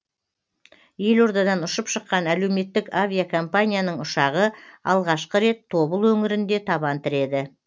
елордадан ұшып шыққан әлеуметтік авиакомпанияның ұшағы алғашқы рет тобыл өңірінде табан тіреді